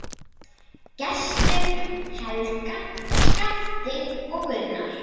Gestur, Helga, Skafti og Gunnar.